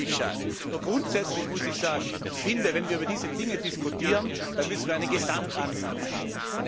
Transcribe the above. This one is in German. Das finde ich schade. Grundsätzlich muss ich sagen Ich finde, wenn wir über diese Dinge diskutieren, dann müssen wir einen Gesamtansatz haben.